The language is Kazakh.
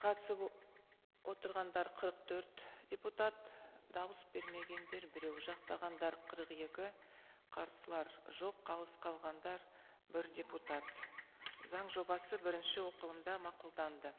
қатысып отырғандар қырық төрт депутат дауыс бермегендер біреу жақтағандар қырық екі қарсылар жоқ қалыс қалғандар бір депутат заң жобасы бірінші оқылымда мақұлданды